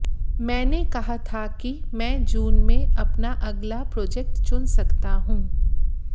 मैंने कहा था कि मैं जून में अपना अगल प्रोजक्ट चुन सकता हूं